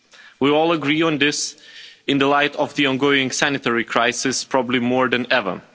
We all agree on this in the light of the ongoing sanitary crisis probably more than ever.